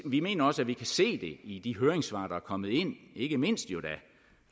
vi mener også at vi kan se det i de høringssvar der er kommet ind ikke mindst